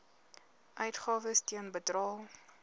uitgawes ten bedrae